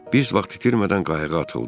Biz vaxt itirmədən qayığa atıldıq.